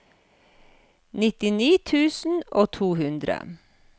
nittini tusen og to hundre